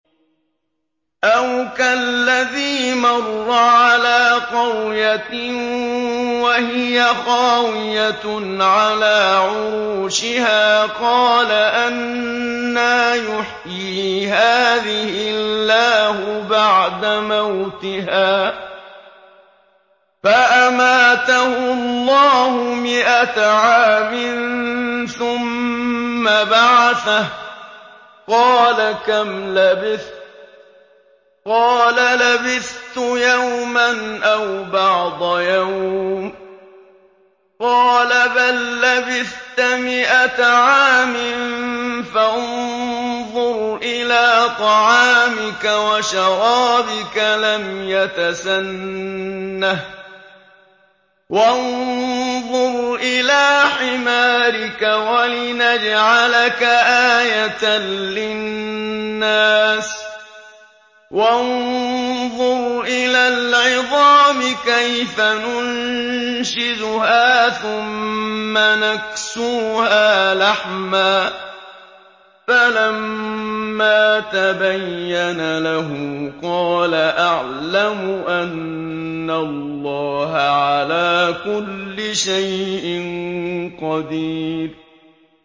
أَوْ كَالَّذِي مَرَّ عَلَىٰ قَرْيَةٍ وَهِيَ خَاوِيَةٌ عَلَىٰ عُرُوشِهَا قَالَ أَنَّىٰ يُحْيِي هَٰذِهِ اللَّهُ بَعْدَ مَوْتِهَا ۖ فَأَمَاتَهُ اللَّهُ مِائَةَ عَامٍ ثُمَّ بَعَثَهُ ۖ قَالَ كَمْ لَبِثْتَ ۖ قَالَ لَبِثْتُ يَوْمًا أَوْ بَعْضَ يَوْمٍ ۖ قَالَ بَل لَّبِثْتَ مِائَةَ عَامٍ فَانظُرْ إِلَىٰ طَعَامِكَ وَشَرَابِكَ لَمْ يَتَسَنَّهْ ۖ وَانظُرْ إِلَىٰ حِمَارِكَ وَلِنَجْعَلَكَ آيَةً لِّلنَّاسِ ۖ وَانظُرْ إِلَى الْعِظَامِ كَيْفَ نُنشِزُهَا ثُمَّ نَكْسُوهَا لَحْمًا ۚ فَلَمَّا تَبَيَّنَ لَهُ قَالَ أَعْلَمُ أَنَّ اللَّهَ عَلَىٰ كُلِّ شَيْءٍ قَدِيرٌ